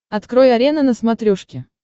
открой арена на смотрешке